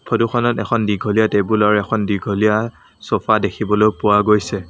ফটোখনত এখন দীঘলীয়া টেবুলৰ এখন দীঘলীয়া চ'ফা দেখিবলৈ পোৱা গৈছে।